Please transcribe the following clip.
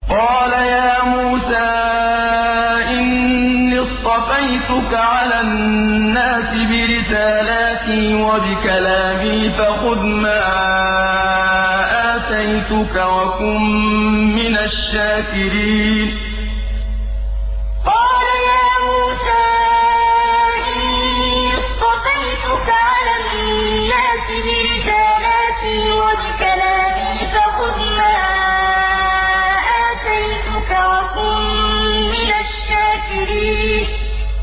قَالَ يَا مُوسَىٰ إِنِّي اصْطَفَيْتُكَ عَلَى النَّاسِ بِرِسَالَاتِي وَبِكَلَامِي فَخُذْ مَا آتَيْتُكَ وَكُن مِّنَ الشَّاكِرِينَ قَالَ يَا مُوسَىٰ إِنِّي اصْطَفَيْتُكَ عَلَى النَّاسِ بِرِسَالَاتِي وَبِكَلَامِي فَخُذْ مَا آتَيْتُكَ وَكُن مِّنَ الشَّاكِرِينَ